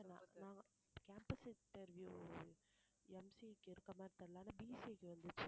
நான் campus interview MCA க்கு இருக்க மாதிரி தெரியலை ஆனா BC க்கு வந்துச்சு